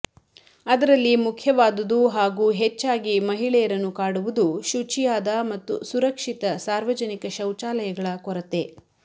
ಅದರಲ್ಲಿ ಮುಖ್ಯವಾದುದು ಹಾಗೂ ಹೆಚ್ಚಾಗಿ ಮಹಿಳೆಂುುರನ್ನು ಕಾಡುವುದು ಶುಚಿಂುುಾದ ಮತ್ತು ಸುರಕ್ಷಿತ ಸಾರ್ವಜನಿಕ ಶೌಚಾಲಂುುಗಳ ಕೊರತೆ